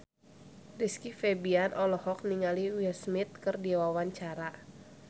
Rizky Febian olohok ningali Will Smith keur diwawancara